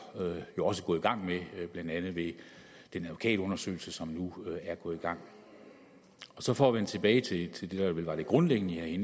også gået i gang med blandt andet via den advokatundersøgelse som nu er gået i gang så for at vende tilbage til det der vel var det grundlæggende i